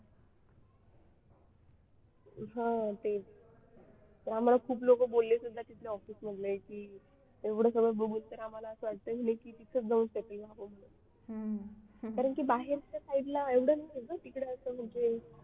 हा ते आम्हाला खूप लोक बोलले सुद्धा तिथल्या office मधले की एवढं सगळं बघून तर आम्हाला असं वाटतंय की तिथे जाऊन settle व्हावं म्हणे की बाहेरच्या side ला एवढं नाही आहे ना तिकडे असं म्हणजे